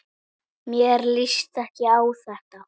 Mér líst ekki á þetta.